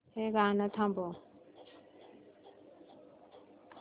हे गाणं थांबव